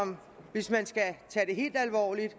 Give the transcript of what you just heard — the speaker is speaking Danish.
hvis man skal tage det helt alvorligt